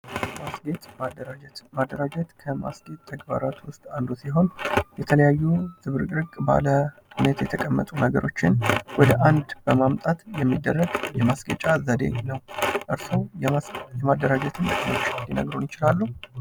ማስጌጥ፦ ማደራጀት፦ ማደራጀት ከማስጌጥ ተግባራት የተለያዩ ዝብርቅርቅ ባለ ሁኔታ የተቀመጡ ነገሮችን ወደ አንድ በማምጣት የሚደረግ ይችላሉ የማሽጌጫ ዘዴ ነው።